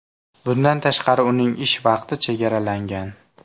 Bundan tashqari, uning ish vaqti chegaralangan.